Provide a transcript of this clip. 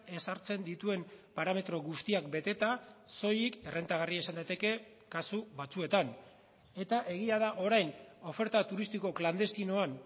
ezartzen dituen parametro guztiak beteta soilik errentagarria izan daiteke kasu batzuetan eta egia da orain oferta turistiko klandestinoan